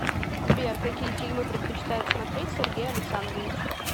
сбер какие фильмы предпочитает смотреть сергей александрович